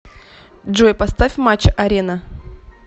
джой поставь матч арена